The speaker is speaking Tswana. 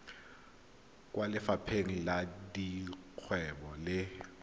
kwa lefapheng la dikgwebo le